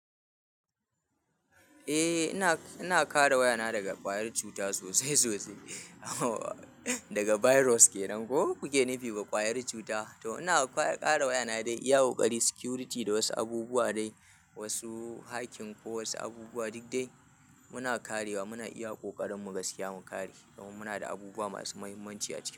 Eh ina, ina kare waya na daga ƙwayar cuta sosai sosai. Daga virus kenan ko kuke nufi ba ƙwayar cuta. To ina kare waya na dai iya ƙoƙari security da wasu abubuwa dai wasu hacking ko wasu abubuwa duk dai muna karewa muna iya ƙoƙarin mu gaskiya mu kare domin muna da abubuwa masu muhimmanci a ciki.